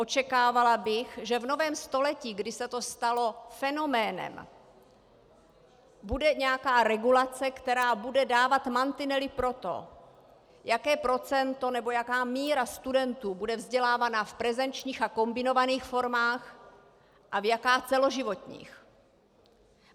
Očekávala bych, že v novém století, kdy se to stalo fenoménem, bude nějaká regulace, která bude dávat mantinely pro to, jaké procento nebo jaká míra studentů bude vzdělávaná v prezenčních a kombinovaných formách a jaká v celoživotních.